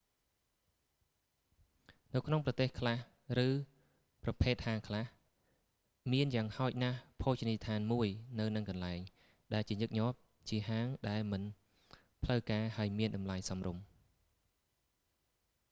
នៅក្នុងប្រទេសខ្លះឬប្រភេទហាងខ្លះ មានយ៉ាងហោចណាស់ភោជនីយដ្ឋានមួយនៅនឹងកន្លែង ដែលជាញឹកញាប់ ជាហាងដែលមិនផ្លូវការហើយមានតម្លៃសមរម្យ